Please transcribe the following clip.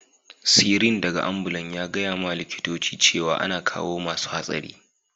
Sirin daga ambulan ya gaya ma likitocin cewa ana kawo masun hatsari.